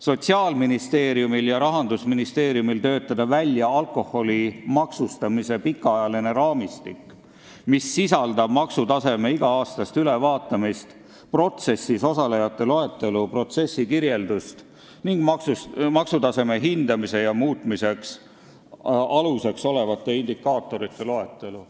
Sotsiaalministeeriumil ja Rahandusministeeriumil töötada välja alkoholi maksustamise pikaajaline raamistik, mis sisaldab maksutaseme iga-aastast ülevaatamist, protsessis osalejate loetelu, protsessikirjeldust ning maksutaseme hindamise ja muutmise aluseks olevate indikaatorite loetelu.